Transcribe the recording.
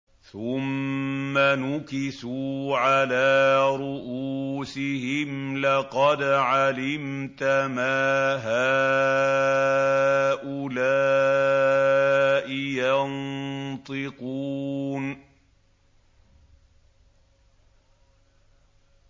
ثُمَّ نُكِسُوا عَلَىٰ رُءُوسِهِمْ لَقَدْ عَلِمْتَ مَا هَٰؤُلَاءِ يَنطِقُونَ